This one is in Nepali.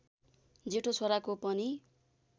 जेठो छोराको पनि